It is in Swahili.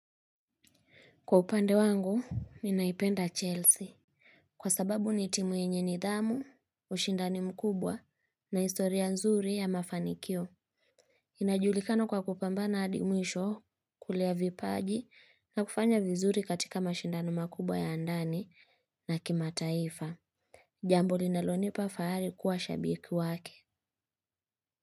Kwa upande wangu, ninaipenda Chelsea. Kwa sababu ni timu yenye nidhamu, ushindani mkubwa na historia nzuri ya mafanikio. Inajulikana kwa kupambana hadi mwisho kulea vipaji na kufanya vizuri katika mashindano makubwa ya ndani na kimataifa. Jambo linalonipa fahari kuwa shabiki wake.